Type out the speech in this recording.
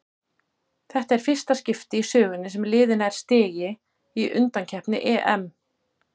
Þetta er fyrsta í skipti í sögunni sem liðið nær stigi í undankeppni EM.